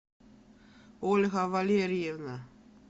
ольга валерьевна